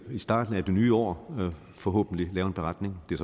i starten af det nye år forhåbentlig lave en beretning det er